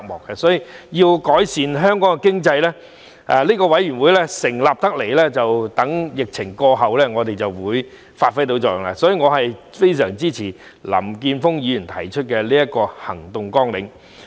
因此，要改善香港經濟，相信這個委員會在疫情過後便會發揮作用，所以我非常支持林健鋒議員提出的行動綱領。